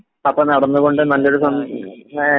അപ്പൊ നടന്നുകൊണ്ട് നല്ലൊരു